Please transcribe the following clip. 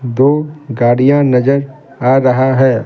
दो गाड़ियां नजर आ रहा है ।